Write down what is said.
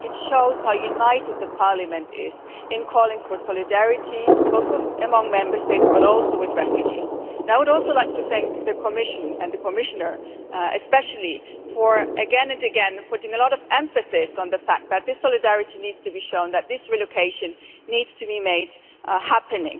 It shows how united Parliament is in calling for solidarity both among Member States and also with refugees. I would also like to thank the Commission, and the Commissioner especially, for again and again emphasising the fact that this solidarity needs to be shown that this relocation needs to be made to happen.